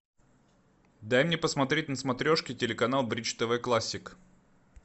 дай мне посмотреть на смотрешке телеканал бридж тв классик